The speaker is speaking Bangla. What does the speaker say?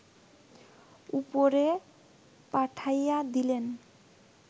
উপরে পাঠাইয়া দিলেন